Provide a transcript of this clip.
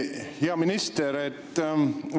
Hea minister!